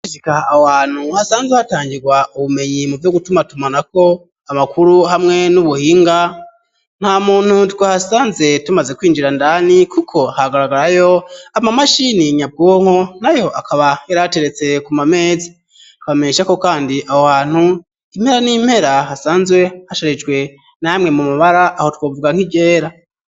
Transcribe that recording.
Sikaha awo hantu hasanzwe hatangirwa ubumenyi mu vyo gutumatumanako amakuru hamwe n'ubuhinga nta muntu twe hasanze tumaze kwinjira ndani, kuko hagaragarayo amamashini nyabwonko na yo akaba yarateretse ku mamezi akabameshako, kandi awo hantu impera n'impera hasanzwe hrijwe namwe mu mubara aho twovwa nk'irera.